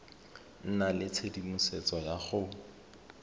nna le tshedimosetso ya go